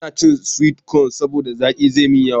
Ba na cin sweet cone saboda zaki ya yi yawa.